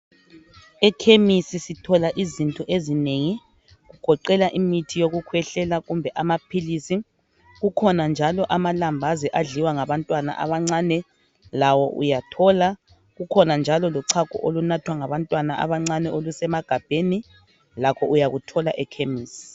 Ekhemisi sithola izinto ezinengi. Kugoqela imithi yokukhwehlela, kumbe amaphilisi. Kukhona njalo amalambazi adliwa ngabantwana abancane, lawo uyathola. Kukhona njalo lochago olunathwa ngabantwana abancane olusemagabheni, lakho uyakuthola ekhemisi.